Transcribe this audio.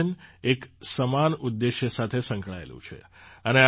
આ આયોજન એક સમાન ઉદ્દેશ સાથે સંકળાયેલું છે